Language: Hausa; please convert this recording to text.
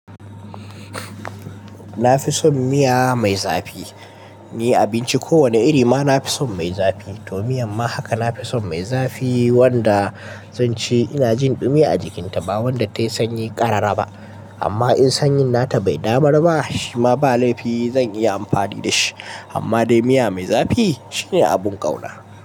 Na fi son miya mai zafi. Ni abinci kowane irima nafi son mai zafi to miyan ma haka nafi son mai zafi wanda zanci ina jin ɗumi a jikinta, ba wanda ta 'yi sanyi ƙarara ba. Amma in sanyin nata bai damar ba, shima ba laifi zan iya amfani dashi. Amma dai miya mai zafi shine abin ƙauna.